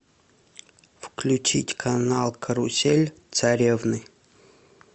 включить канал карусель царевны